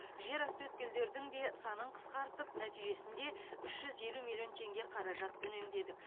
жер асты өткелдердің де санын қысқарттып нәтижесінде үш жүз елу алты миллион теңге қаражат үнемдедік